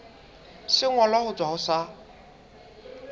sengolwa ho tswa ho sa